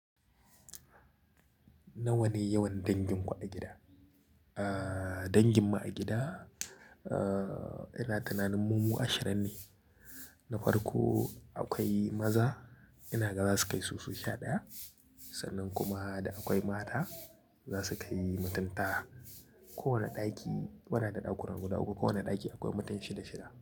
Nawa ne yawan dangin ku a gida? Danginmu a gida, ina tunanin mu mu ashirin ne. Na farko akwai maza, ina ga za su kai su solu sha ɗaya. Sannan kuma akwai mata za su kai mutun tara. Kowane ɗaki muna da ɗakuna guda uku. Kowanne ɗaki akwai mutum shida shida.